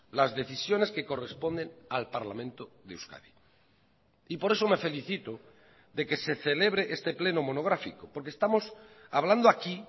las decisiones que corresponden al parlamento de euskadi y por eso me felicito de que se celebre este pleno monográfico porque estamos hablando aquí